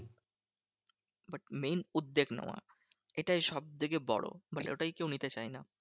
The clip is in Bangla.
But main উদ্বেগ নেওয়ার এটাই সবথেকে বড়। মানে ওটাই কেউ নিতে চায় না।